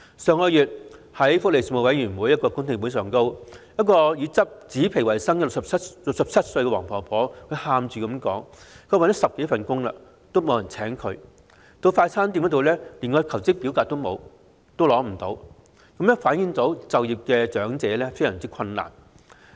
上月在福利事務委員會的公聽會上，以執紙皮維生的67歲黃婆婆哭訴找了10多份工也不獲聘請，到快餐店求職則連申請表格也拿不到，反映長者就業困難。